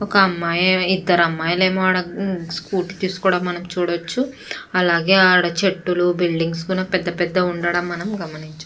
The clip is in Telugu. ఒక అమ్మాయి ఇద్దరు అమ్మయిలు స్కూటీ ను కూడా మనం చూడచ్చు. అలాగే ఆడ చెట్టులు బిల్డింగ్స్ పెద్ద పెద్ధ గా ఉండడం మనం గమనించ --